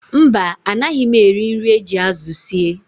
Mba, anaghị m eri nri e ji azụ sie